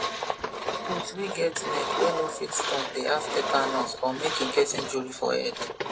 goat wey get neck wey no fit turn dey have tatanus or make e get injury for head